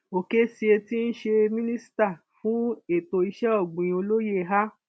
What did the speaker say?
Okezie tí í ṣe minister fún ètò iṣẹ ọgbìn olóye a